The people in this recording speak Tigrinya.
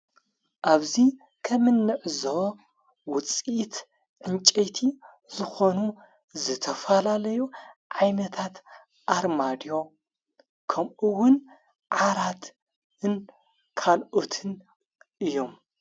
ኣብዙይ ከምንዕዞ ውፂት ዕንጨይቲ ዝኾኑ ዘተፋላለዮ ዓይመታት ኣርማድዮ ከምኡውን ዓራት ካልኦትን እዩም።